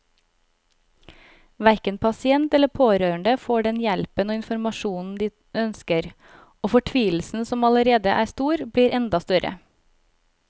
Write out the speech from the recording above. Hverken pasient eller pårørende får den hjelpen og informasjonen de ønsker, og fortvilelsen som allerede er stor, blir enda større.